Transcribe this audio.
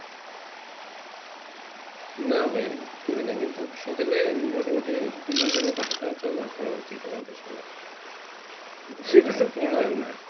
না ভাই করিনা কিন্তু সকালে মোটামোটি দুই ঘন্টা হাটা চলা করা উচিত আমাদের সবার